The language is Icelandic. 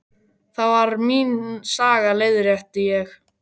Það var mín saga, leiðrétti ég.